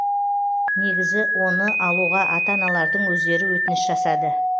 негізі оны алуға ата аналардың өздері өтініш жасады